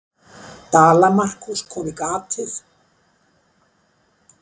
Dala-Markús kom í gatið.